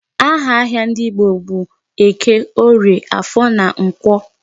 Aha ahịa ndị Igbo bụ Eke, Orie, Afọ na Nkwọ.